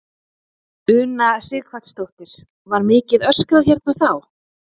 Una Sighvatsdóttir: Var mikið öskrað hérna þá?